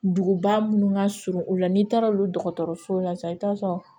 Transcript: Duguba munnu ka surun u la n'i taara olu dɔgɔtɔrɔsow la sisan i t'a sɔrɔ